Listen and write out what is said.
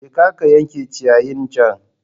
Jeka ka yanke ciyayin can